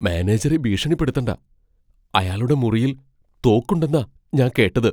മാനേജറെ ഭീഷണിപ്പെടുത്തണ്ട . അയാളുടെ മുറിയിൽ തോക്കുണ്ടെന്നാ ഞാൻ കേട്ടത് .